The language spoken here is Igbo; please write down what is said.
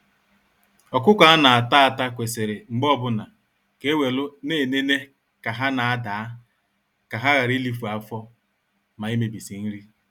Ọkụkọ a na-ata ata kwesịrị mgbe ọbụna, ka e welu na-enene ka ha n'adaa, ka ha ghara ilifu afọ, ma imebisi nri.